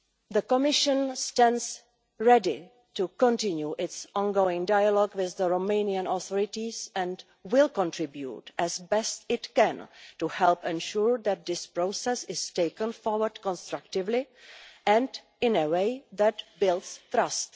The Commission stands ready to continue its ongoing dialogue with the Romanian authorities and will contribute as best it can to help ensure that this process is taken forward constructively and in a way that builds trust.